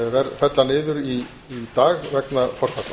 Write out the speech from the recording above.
falla niður í dag vegna forfalla